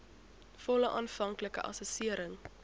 volle aanvanklike assessering